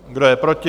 Kdo je proti?